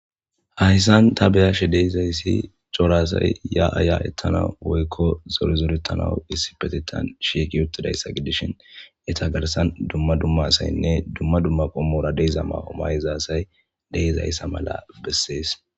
Hayssan ta beyashe deizayssi corasay ya aya ettana woykko zorizoretanawu issi petitan sheeki ottidayssa gidishhin eta garsan dumma dumma saynne dumma dumma qommora deiza maomayizaasay deizayssa mala bessees.